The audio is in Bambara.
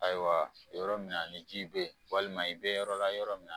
Ayiwa, yɔrɔ min na ni ji bɛ yen, walima i bɛ yɔrɔ la yɔrɔ min